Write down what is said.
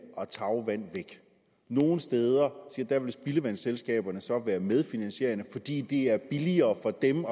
og tagvand væk nogle steder vil spildevandsselskaberne så være medfinansierende fordi det er billigere for dem